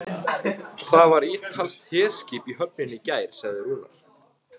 Það var ítalskt herskip í höfninni í gær, sagði Rúnar.